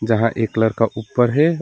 यहां एक लड़का ऊपर है।